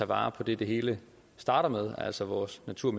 vare på det det hele starter med altså vores natur